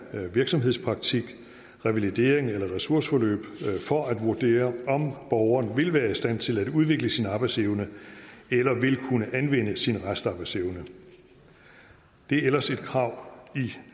virksomhedspraktik revalidering eller ressourceforløb for at vurdere om borgeren vil være i stand til at udvikle sin arbejdsevne eller vil kunne anvende sin restarbejdsevne det er ellers et krav